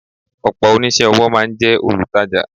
Ọ̀pọ̀ oníṣẹ́-ọwọ́ máa ń jẹ́ olutaja.